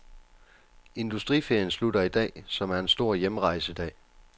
Industriferien slutter i dag, som er en stor hjemrejsedag.